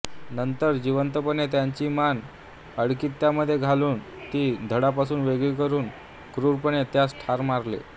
नंतर जिवंतपणे त्याची मान आडकित्त्यामध्ये घालून ती धडापासून वेगळी करून क्रूरपणे त्यास ठार मारले